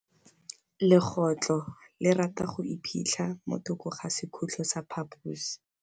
Legôtlô le rata go iphitlha mo thokô ga sekhutlo sa phaposi.